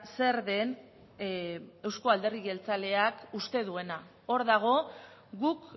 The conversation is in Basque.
zer den euzko alderdi jeltzaleak uste duena hor dago guk